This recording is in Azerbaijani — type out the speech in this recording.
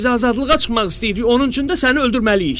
Biz azadlığa çıxmaq istəyirik, onun üçün də səni öldürməliyik.”